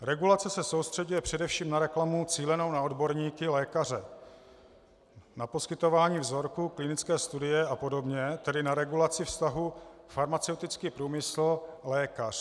Regulace se soustřeďuje především na reklamu cílenou na odborníky lékaře, na poskytování vzorků, klinické studie a podobně, tedy na regulaci vztahu farmaceutický průmysl - lékař.